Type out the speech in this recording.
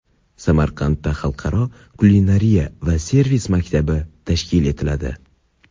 Samarqandda xalqaro kulinariya va servis maktabi tashkil etiladi.